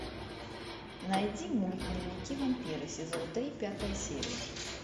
найди мульт дневники вампира сезон три пятая серия